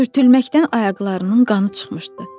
Sürtülməkdən ayaqlarının qanı çıxmışdı.